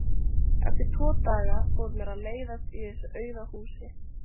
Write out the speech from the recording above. Eftir tvo daga fór mér að leiðast í þessu auða húsi.